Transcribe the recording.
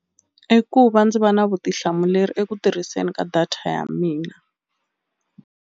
I ku va ndzi va na vutihlamuleri eku tirhiseni ka data ya mina.